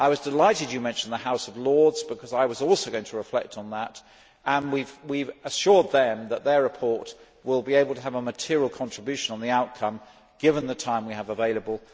I was delighted you mentioned the House of Lords because I was also going to reflect on that. We have assured them that their report will be able to have a material contribution on the outcome, given the time we have available.